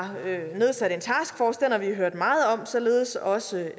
nedsat en taskforce som vi har hørt meget om således også